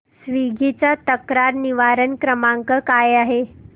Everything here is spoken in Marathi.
स्वीग्गी चा तक्रार निवारण क्रमांक काय आहे